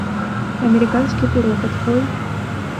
американский пирог открой